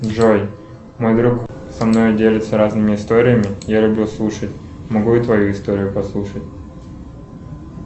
джой мой друг со мною делится разными историями я люблю слушать могу и твою историю послушать